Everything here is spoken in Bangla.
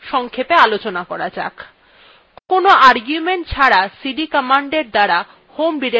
কোনো argument ছাড়া cd commandএর দ্বারা home directoryত়ে ফিরে আসা যায়